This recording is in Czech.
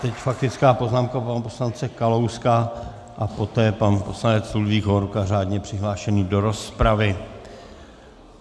Teď faktická poznámka pana poslance Kalouska a poté pan poslanec Ludvík Hovorka řádně přihlášený do rozpravy.